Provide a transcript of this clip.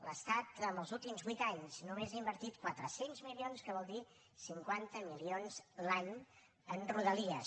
l’estat en els últims vuit anys només ha invertit quatre cents milions que vol dir cinquanta milions l’any en rodalies